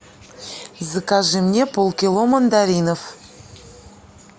закажи мне полкило мандаринов